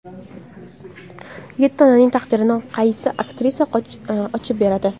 Yetti onaning taqdirini qaysi aktrisalar ochib beradi?